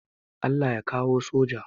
Allah ya kawo soja